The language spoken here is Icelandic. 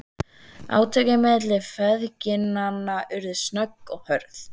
Átökin milli feðginanna urðu snögg og hörð.